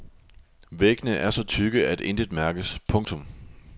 Væggene er så tykke at intet mærkes. punktum